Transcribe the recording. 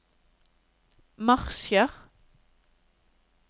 marsjer